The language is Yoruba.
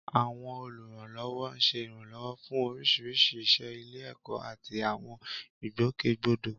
Àwọn olùrànlọ́wọ́ ń ṣe ìrànlọ́wọ́ fún oríṣiríṣi iṣẹ́ ilé-ẹ̀kọ́ àti àwọn ìgbòkègbodò.